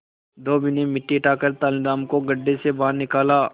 धोबी ने मिट्टी हटाकर तेनालीराम को गड्ढे से बाहर निकाला